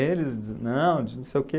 Eles dizem, não, de não sei o quê.